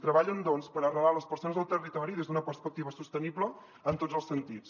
treballen doncs per arrelar les persones al territori des d’una perspectiva sostenible en tots els sentits